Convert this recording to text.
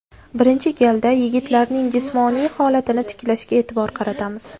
Birinchi galda yigitlarning jismoniy holatini tiklashga e’tibor qaratamiz.